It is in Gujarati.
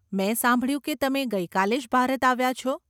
મેં સાંભળ્યું કે તમે ગઇ કાલે જ ભારત આવ્યા છો.